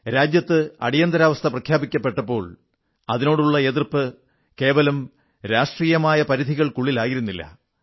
രാജ്യത്ത് അടിയന്തരാവസ്ഥ പ്രഖ്യാപിക്കപ്പെട്ടപ്പോൾ അതിനോടുള്ള എതിർപ്പ് കേവലം രാഷ്ട്രീയമായ പരിധികൾക്കുള്ളിലായിരുന്നില്ല